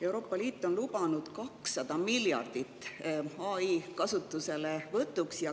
Euroopa Liit on lubanud 200 miljardit AI kasutuselevõtuks.